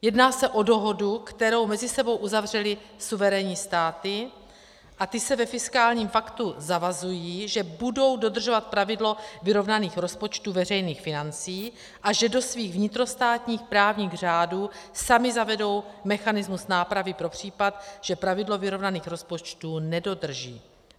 Jedná se o dohodu, kterou mezi sebou uzavřely suverénní státy, a ty se ve fiskálním paktu zavazují, že budou dodržovat pravidlo vyrovnaných rozpočtů veřejných financí a že do svých vnitrostátních právních řádů samy zavedou mechanismus nápravy pro případ, že pravidlo vyrovnaných rozpočtů nedodrží.